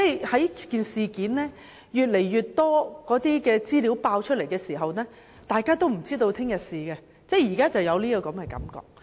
隨着事件有越來越多資料爆出，大家都有今天不知明天事的感覺。